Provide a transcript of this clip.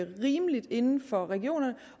rimeligt inden for regionerne